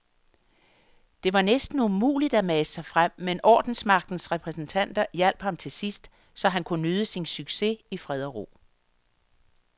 Det var næsten umuligt at mase sig frem, men ordensmagtens repræsentanter hjalp ham til sidst, så han kunne nyde sin succes i fred og ro.